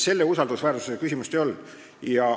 Seda usaldusväärsuse küsimust kõne all ei olnud.